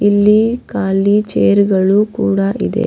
ಇಲ್ಲಿ ಕಾಲಿ ಚೇರ್ಗಳು ಕೂಡ ಇದೆ.